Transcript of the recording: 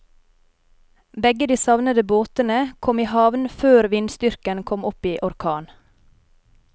Begge de savnede båtene kom i havn før vindstyrken kom opp i orkan.